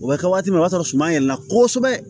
O bɛ kɛ waati min o y'a sɔrɔ sumaya yɛlɛla kosɛbɛ